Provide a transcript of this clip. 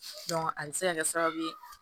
a bɛ se ka kɛ sababu ye